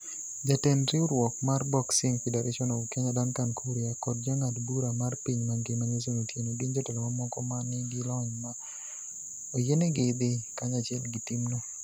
Jatend riwruok mar Boxing Federation of Kenya Duncan Kuria kod jang'ad bura mar piny mangima Nelson Otieno gin jotelo mamoko ma nigi lony ma oyienegi dhi kanyachiel gi timno.